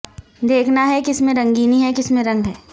دیکھنا ہے کس میں رنگینی ہے کس میں رنگ ہے